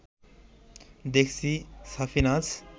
দেখছি সাফিনাজ